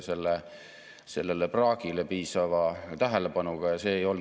See oli aeg, mida iseloomustas hulk ärevust ja ebakindlust nii siseriiklikult, meie lähinaabruses kui maailmas laiemalt.